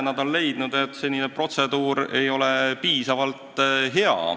Nad on leidnud, et senine protseduur ei ole piisavalt hea.